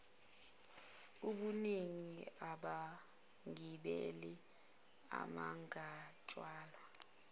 ubuningi babagibeli abangathwalwa